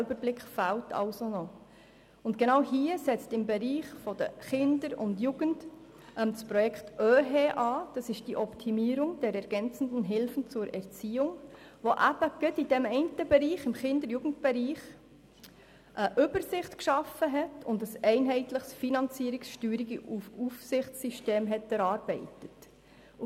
Genau hier setzt das Projekt OeHE an, das im Kinder- und Jugendbereich eine Übersicht geschaffen und ein einheitliches Finanzierungs-, Steuerungs- und Aufsichtssystem erarbeitet hat.